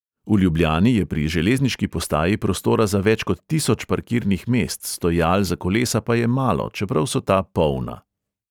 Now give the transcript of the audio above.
V ljubljani je pri železniški postaji prostora za več kot tisoč parkirnih mest, stojal za kolesa pa je malo, čeprav so ta polna.